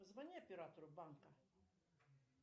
позвони оператору банка